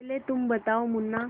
पहले तुम बताओ मुन्ना